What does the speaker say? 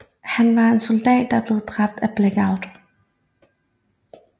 Han var en soldat der blev dræbt af Blackout